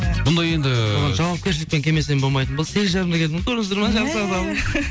бұны енді бұған жауапкершілікпен келмесем болмайтын болды сегіз жарымда келдім